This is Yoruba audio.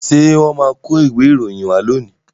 Ṣé wọ́n máa kó ìwé ìròyìn wá lónìí?